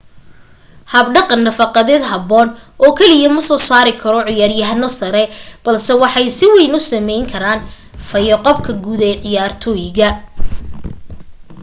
habdhaqan nafaqeed habboon oo keliya ma soo saari karo ciyaar-yahano sare balse waxay si wayn u saameyn karaan fayo-qabka guud ee ciyaartoyda